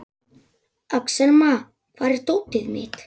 Axelma, hvar er dótið mitt?